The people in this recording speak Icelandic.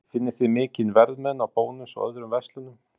Sindri: Finnið þið mikinn verðmun á Bónus og öðrum verslunum?